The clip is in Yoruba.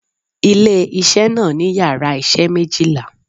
Ilé isé náà ní yàrá isé méjìlá